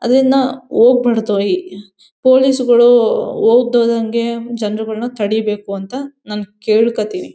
ಅದನ್ನ ಹೋಗ್ಬಾರ್ದು ಈ ಪೊಲೀಸ್ ಗಳು ಹೋಗ್ದೋಗಂಗೆ ಜನರುಗಳ್ನ ತಡೀಬೇಕು ಅಂತ ನಾನ್ ಕೇಳ್ಕೊತಿನಿ.